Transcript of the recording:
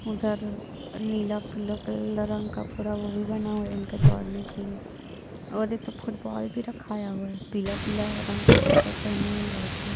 उधर नीला काले रंग का थोड़ा वो भी बना हुआ हैं उनके दौड़ने के लिए वो देखो फुटबॉल भी रखाया हुआ है पीला-पीला रंग का कपड़ा पेहने हुए लड़के--